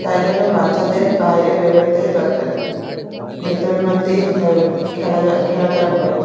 তাই জন্য বাচ্চাদের বাইরে বেরোতে দরকার নেই। ভেতর মধ্যেই থেও খেলা টেলা করে।